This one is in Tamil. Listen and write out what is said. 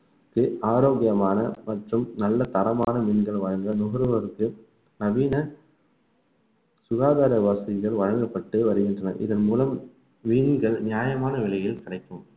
ஆரோக்கியமான மற்றும் நல்ல தரமான மீன்கள் வழங்க நுகர்வோருக்கு நவீன சுகாதார வசதிகள் வழங்கப்பட்டு வருகின்றன இதன் மூலம் மீன்கள் நியாயமான விலையில் கிடைக்கும்